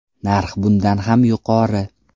Narx bundan ham yuqori.